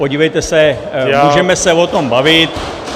Podívejte se, můžeme se o tom bavit .